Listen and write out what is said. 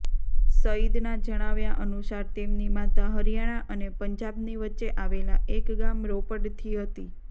સઇદના જણાવ્યા અનુસાર તેમની માતા હરિયાણા અને પંજાબની વચ્ચે આવેલા એક ગામ રોપડથી હતી